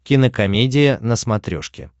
кинокомедия на смотрешке